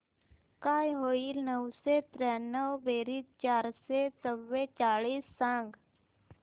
काय होईल नऊशे त्र्याण्णव बेरीज चारशे चव्वेचाळीस सांग